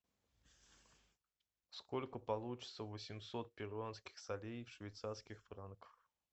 сколько получится восемьсот перуанских солей в швейцарских франках